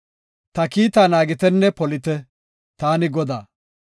“Ta kiitta naagitenne polite. Taani Godaa.